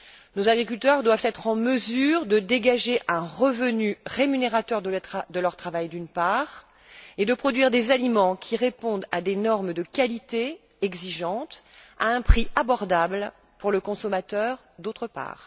Nos agriculteurs doivent être en mesure de dégager un revenu rémunérateur de leur travail, d'une part, et de produire des aliments qui répondent à des normes de qualité exigeantes à un prix abordable pour le consommateur, d'autre part.